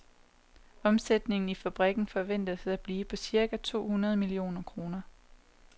Omsætningen i fabrikken forventes at blive på cirka to hundrede millioner kroner.